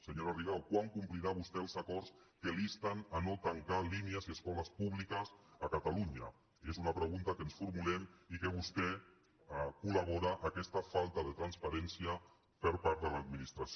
senyora ri·gau quan complirà vostè els acords que l’insten a no tancar línies i escoles púbiques a catalunya és una pregunta que ens formulem i que vostè col·labora a aquesta falta de transparència per part de l’adminis·tració